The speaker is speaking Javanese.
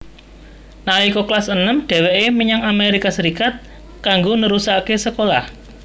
Nalika kelas enem dhèwèké menyang Amerika Serikat kanggo nerusaké sekolah